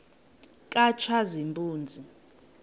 katshazimpuzi